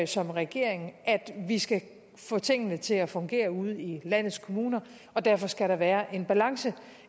som regering at vi skal få tingene til at fungere ude i landets kommuner og derfor skal der være balance